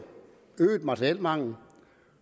øget materielmangel